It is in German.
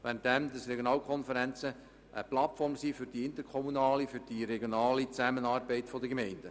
Demgegenüber sind die Regionalkonferenzen eine Plattform für die interkommunale, regionale Zusammenarbeit der Gemeinden.